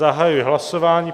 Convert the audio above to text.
Zahajuji hlasování.